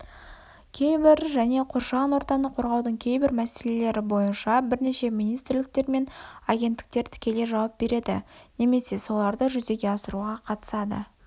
кейбір және қоршаған ортаны қорғаудың кейбір мәселелері бойынша бірнеше министрліктер мен агенттіктер тікелей жауап береді немесе соларды жүзеге асыруға қатысады